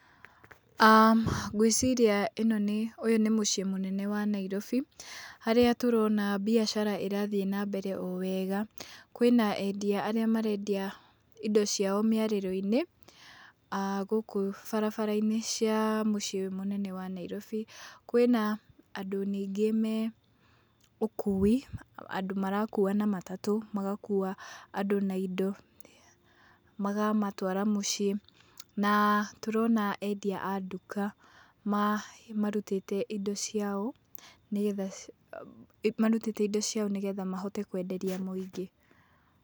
um Ngwĩciria ĩno nĩ ũyũ nĩ mũciĩ mũnene wa Nairobi, harĩa tũrona mbiacara ĩrathiĩ nambere o wega. Kwĩna endia arĩa marendia indo ciao mĩarĩro-inĩ, um gũkũ barabara cia mũciĩ mũnene wa Nairobi. Kwĩna andũ ningĩ me ũkũi, andũ marakũũa na matatũ, magakũũa andũ na indo, magamatwara mũciĩ, na tũrona endia a ndũka marũtĩte indo ciao nĩgetha, marũtĩte indio ciao nĩgetha mahote kwenderia mũingĩ.